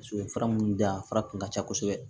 U ye fura minnu di yan fara kun ka ca kosɛbɛ